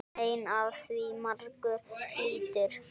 Mein af því margur hlýtur.